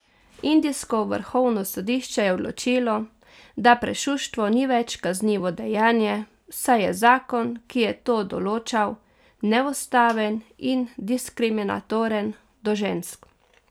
Indijsko vrhovno sodišče je odločilo, da prešuštvo ni več kaznivo dejanje, saj je zakon, ki je to določal, neustaven in diskriminatoren do žensk.